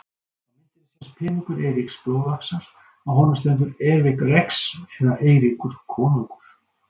Á myndinni sést peningur Eiríks blóðaxar, á honum stendur Eric Rex eða Eiríkur konungur.